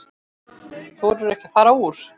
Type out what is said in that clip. Þorirðu ekki að fara úr?